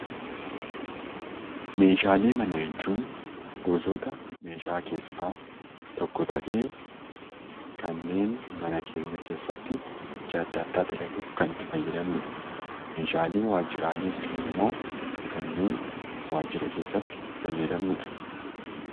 Meeshaalee manaa jechun gosoota meeshaa keessaa tokko ta'ee, kanneen mana keenya keessatti hojii adda addaa itti dalaguuf itti fayyadamnudha. Meeshaa waajjiraalee jechuun ammoo kanneen waajjira keessatti fayyadamnudha.